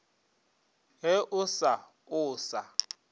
ge o sa o sa